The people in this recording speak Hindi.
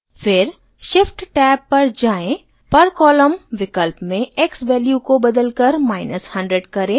फिर shift tab पर जाएँ per column विकल्प में x value को बदलकर100 करें